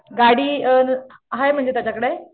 गाडी अ हाय म्हणजे त्याच्याकडे?